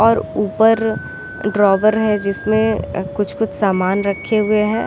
और ऊपर ड्रॉअर है जिसमे अ कुछ-कुछ सामान रखे हुए है।